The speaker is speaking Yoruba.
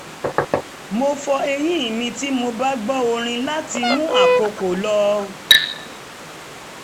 mo fọ eyín mi tí mo bá gbọ́ orin láti mú àkókò lọ